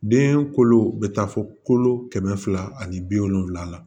Den kolo bɛ taa fɔ kolo kɛmɛ fila ani bi wolonfila la